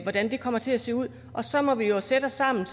hvordan det kommer til at se ud og så må vi jo sætte os sammen